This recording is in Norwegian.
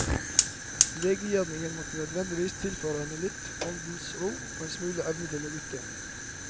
Legegjerningen måtte nødvendigvis tilføre henne litt åndens ro og en smule evne til å lytte.